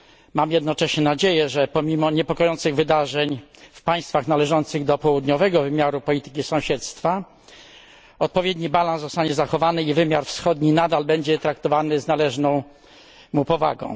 Mam jednocześnie nadzieję, że pomimo niepokojących wydarzeń w państwach należących do południowego wymiaru polityki sąsiedztwa, odpowiedni balans zostanie zachowany i wymiar wschodni nadal będzie traktowany z należną mu powagą.